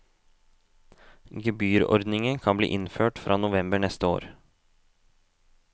Gebyrordningen kan bli innført fra november neste år.